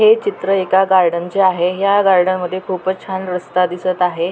हे चित्र एका गार्डनचे आहे ह्या गार्डन मध्ये खूपच छान रस्ता दिसत आहे.